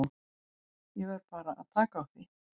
Ég verð bara að taka því.